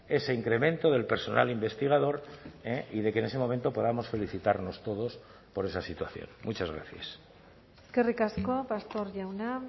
ese incremento del personal investigador y de que en ese momento podamos felicitarnos todos por esa situación muchas gracias eskerrik asko pastor jauna